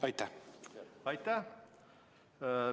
Aitäh!